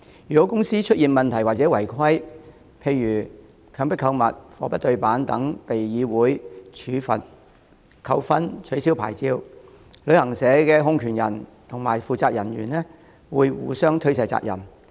如公司出現問題或違規，例如強迫購物、貨不對辦等而被香港旅遊業議會處罰、扣分或吊銷牌照，旅行社控權人及負責人員會互相推卸責任。